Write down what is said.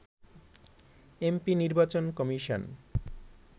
MP নির্বাচন commission